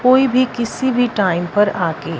कोई भी किसी भी टाइम पर आके--